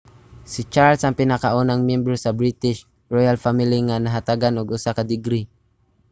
si charles ang pinakaunang miyembro sa british royal family nga nahatagan og usa ka degree